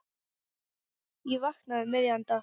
Ég vaknaði um miðjan dag.